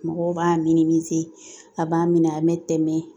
Mɔgɔw b'a a b'a minɛ an me tɛmɛ